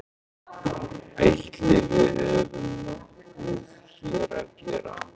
Ætli við höfum nokkuð hér að gera?